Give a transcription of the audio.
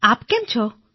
આપ કેમ છો